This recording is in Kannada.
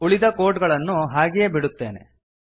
ಉಳಿದ ಕೋಡ್ ಅನ್ನು ಹಾಗೆಯೇ ಬಿಡುತ್ತೇನೆ